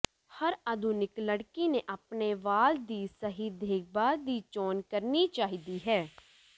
ਹਰ ਆਧੁਨਿਕ ਲੜਕੀ ਨੇ ਆਪਣੇ ਵਾਲ ਦੀ ਸਹੀ ਦੇਖਭਾਲ ਦੀ ਚੋਣ ਕਰਨੀ ਚਾਹੀਦੀ ਹੈ